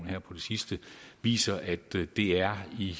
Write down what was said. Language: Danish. her på det sidste viser at det er i